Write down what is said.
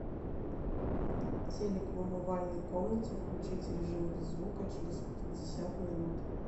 телик в умывальной комнате включить режим без звука через пятьдесят минут